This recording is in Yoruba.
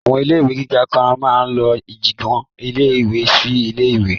Àwọn ilé ìwé gíga kan máa lọ ìjiyàn ilé ìwé sí ilé ìwé